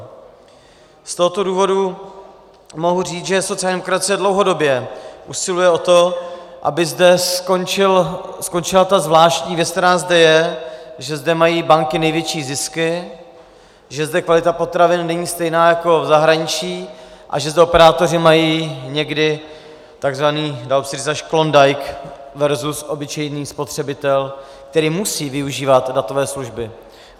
Z tohoto důvodu mohu říct, že sociální demokracie dlouhodobě usiluje o to, aby zde skončila ta zvláštní věc, která zde je, že zde mají banky největší zisky, že zde kvalita potravin není stejná jako v zahraničí a že zde operátoři mají někdy takzvaný, dá se říct, až klondike versus obyčejný spotřebitel, který musí využívat datové služby.